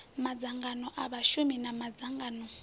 madzangano a vhashumi na madzangano